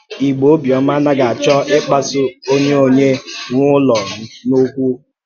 Ìgbò ọ̀bịọ́mà ànàghị àchọ ịkpàsù onye onye nwe ụlọ n’ọ́kwú-ọ́kwú.